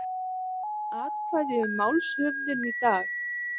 Atkvæði um málshöfðun í dag